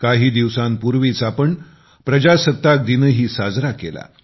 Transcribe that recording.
काही दिवसांपूर्वीच आपण प्रजासत्ताक दिनही साजरा केला